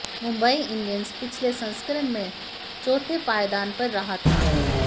Mumbai Indians पिछले संस्करण में चौथे पायदान पर रहा था